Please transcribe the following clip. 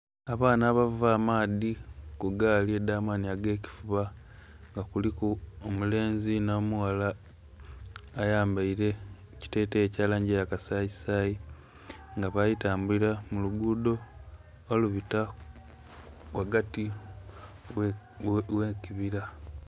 Abaana abava amaadhi kugaali edhamani agekifuba nga kuliku omulenzi n'omughala ayambaire ekitetei ekyalangi eyakasayi sayi nga bali tambulira mulugudo olubita ghagati ghekibira.